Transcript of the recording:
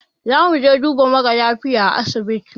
Zamuje duba mara lafiya a asibiti